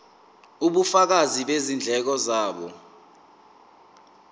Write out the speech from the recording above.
ubufakazi bezindleko zabo